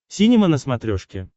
синема на смотрешке